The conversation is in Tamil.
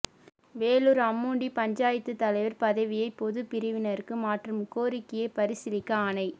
வேலூர் அம்முண்டி பஞ்சாயத்து தலைவர் பதவியை பொதுப் பிரிவினருக்கு மாற்றும் கோரிக்கையை பரிசீலிக்க ஆணை